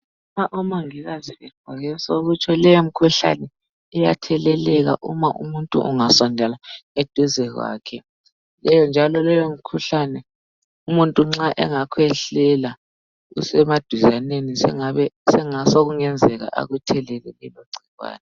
Nxa omongikazi begqoke so kutsho leyomikhuhlane iyatheleleka uma umuntu ungasondela eduze kwakhe njalo leyomikhuhlane umuntu nxa engakhwehlela usemaduzaneni sokungenzeka akuthelele igcikwane.